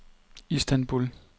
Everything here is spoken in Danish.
Istanbul